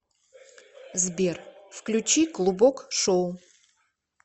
сбер включи клубок шоу